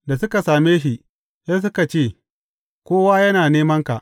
Da suka same shi, sai suka ce, Kowa yana nemanka!